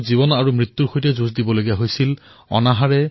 ভাৰতীয় নৌসেনাৰ এই বীৰজনে যুঁজি থাকিল যুঁজি থাকিল